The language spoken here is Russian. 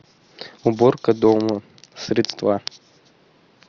уборка дома средства